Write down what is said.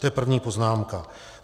To je první poznámka.